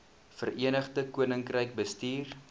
verenigde koninkryk bestuur